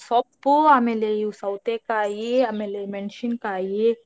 ಸೊಪ್ಪು ಆಮೇಲ್ ಇವು ಸೌತೆೇಕಾಯೀ ಆಮೇಲ್ ಮೆಣ್ಶಿನ್ಕಾಯೀ.